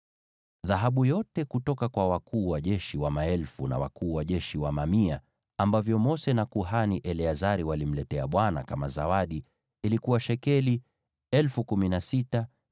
Dhahabu yote kutoka kwa wakuu wa jeshi wa maelfu na wakuu wa jeshi wa mamia ambavyo Mose na kuhani Eleazari walimletea Bwana kama zawadi ilikuwa shekeli 16,750